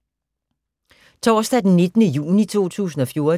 Torsdag d. 19. juni 2014